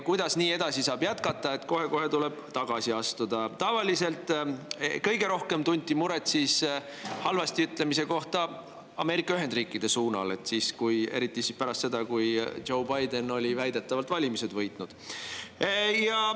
Tavaliselt tunti kõige rohkem muret Ameerika Ühendriikide kohta halvasti ütlemise pärast, eriti pärast seda, kui Joe Biden oli väidetavalt valimised võitnud.